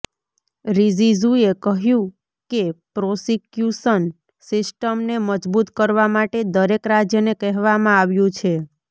રિજિજૂએ કહ્યું કે પ્રોસિક્યૂશન સિસ્ટમને મજબૂત કરવા માટે દરેક રાજ્યને કહેવામાં આવ્યું છે